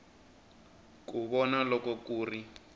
ku vona loko ku ri